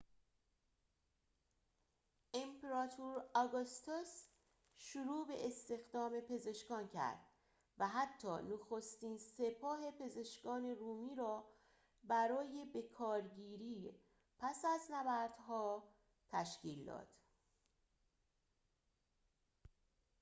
امپراتور آگوستوس شروع به استخدام پزشکان کرد و حتی نخستین سپاه پزشکان رومی را برای بکارگیری پس از نبردها تشکیل داد